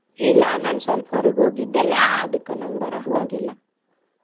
ಇಲ್ಲಾ ನಾನ್ ಸ್ವಲ್ಪ ಹೊರಗ್ ಹೋಗಿದ್ದೆಲ್ಲಾ ಅದಕ್ಕ ನಂಗ್ ಬರಾಕ್ ಆಗ್ಲಿಲ್ಲ.